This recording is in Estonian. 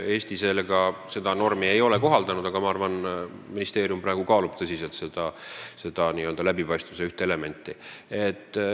Eesti ei ole seda normi kohaldanud, aga ma arvan, et ministeerium kaalub praegu tõsiselt seda kui läbipaistvuse ühte elementi.